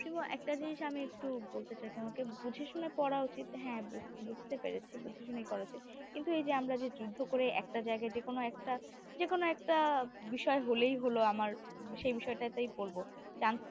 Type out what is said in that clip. প্রেমো একটা জিনিস একটু বলতে চাই তোমাকে বুঝে শুনে পড়া উচিত হ্যাঁ বুজতে পেরেছি বুঝে শুনেই করা উচিত কিন্তু এইযে আমরা যে যুদ্ধ করে একটা জায়গায় যেকোনো একটা যেকোনো একটা বিষয় হলেই হল আমার সেই বিষয়টাতেই পড়বো chance